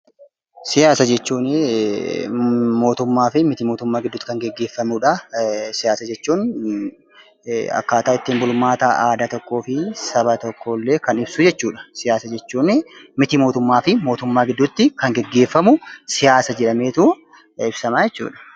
Siyaasa jechuuni mootummaafi miti mootummaa gidduutti kan gaggeefamudha. Siyaasa jechuun akkaataa ittiin bulmaata aadaa tokkoofi saba tokkoollee kan ibsuu jechuudha. Siyaasa jechuuni miti mootummaafi mootummaa kan gaggeefamu siyaasa jedhameet ibsama jechudha.